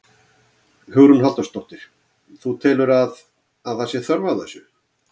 Hugrún Halldórsdóttir: Þú telur að, að það sé þörf á þessu?